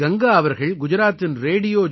கங்காஅவர்கள்குஜராத்தின்ரேடியோ